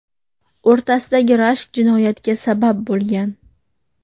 o‘rtasidagi rashk jinoyatga sabab bo‘lgan.